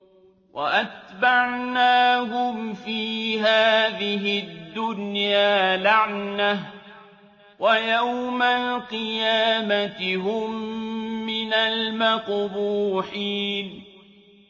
وَأَتْبَعْنَاهُمْ فِي هَٰذِهِ الدُّنْيَا لَعْنَةً ۖ وَيَوْمَ الْقِيَامَةِ هُم مِّنَ الْمَقْبُوحِينَ